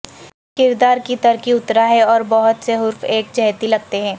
کردار کی ترقی اترا ہے اور بہت سے حروف ایک جہتی لگتے ہیں